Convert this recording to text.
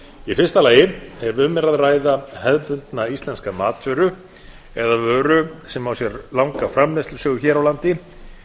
í fyrsta lagi ef um er að ræða hefðbundna íslenska matvöru eða vöru sem á sér langa framleiðslusögu hér á landi